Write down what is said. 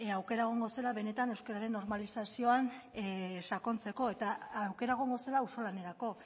aukera egongo zela benetan euskararen normalizazioan sakontzeko eta aukera egongo zela auzolanerako